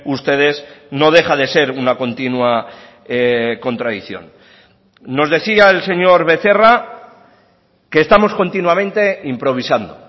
ustedes no deja de ser una continua contradicción nos decía el señor becerra que estamos continuamente improvisando